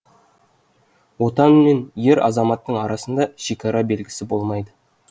отан мен ер азаматтың арасында шекара белгісі болмайды